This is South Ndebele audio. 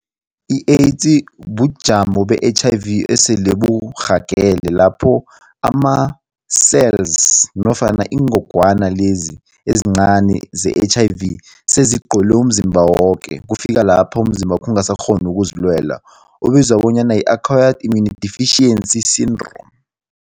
I-AIDS bujamo be-H_I_V esele burhagele lapho ama-cells nofana ingogwana lezi ezincani ze-H_I_V sezigcwele umzimba woke kufika lapha umzimbakho ungasakghoni ukuzilwela. Ubizwa bonyana yi-Acquired Immunodeficiency Syndrome.